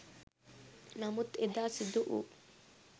නමුත් එදා සිදුවු